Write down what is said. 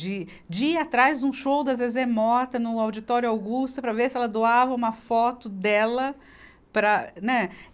De, de ir atrás de um show da Zezé Mota, no Auditório Augusta, para ver se ela doava uma foto dela para, né.